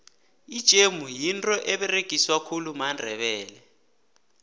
ijemu yinto eberegiswa khulu mandebele